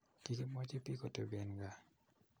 kokimwochi biik kotepii en kaa